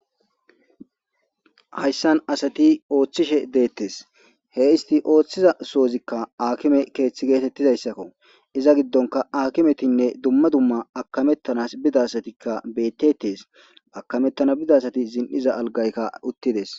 Hayssan asati ooththishe deettes he isti ooththiza soozikka akime keeththi geetettizayssakko iza giddonka akimetinne dumma dumma akamettanas bidasatikka bettetees akamettana bidasati zin'iza algaykka uttides.